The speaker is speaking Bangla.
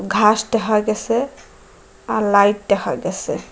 ঘাস দেখা গেসে আর লাইট দেখা গেসে ।